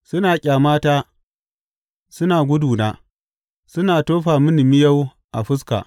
Suna ƙyamata suna guduna; suna tofa mini miyau a fuska.